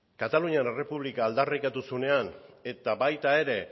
katalunian errepublika aldarrikatu zuenean eta baita ere